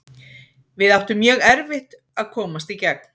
Við áttum mjög erfitt að komast í gegn.